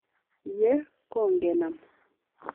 ye kongenam.